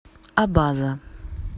абаза